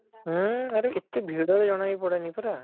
ହୁଁ ଆରେ କେତେ ଭିଡ ବି ଜଣା ବି ପଡ଼େନି ପରା